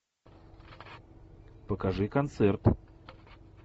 покажи концерт